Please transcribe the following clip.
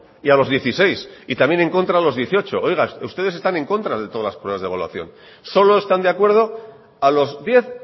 y a los dieciséis y también en contra a los dieciocho oiga ustedes están en contra de todas las pruebas de evaluación solo están de acuerdo a los diez